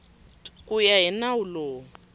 ku ya hi nawu lowu